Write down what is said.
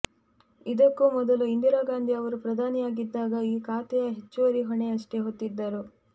ಇದಕ್ಕೂ ಮೊದಲು ಇಂದಿರಾ ಗಾಂಧಿ ಅವರು ಪ್ರಧಾನಿಯಾಗಿದ್ದಾಗ ಈ ಖಾತೆಯ ಹೆಚ್ಚುವರಿ ಹೊಣೆಯನ್ನಷ್ಟೇ ಹೊತ್ತಿದ್ದರು